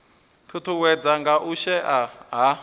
ṱuṱuwedzwa nga u shaea ha